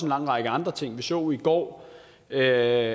lang række andre ting vi så jo i går at